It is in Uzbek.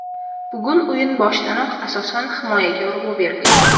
Bugun o‘yin boshidanoq asosan himoyaga urg‘u berdik.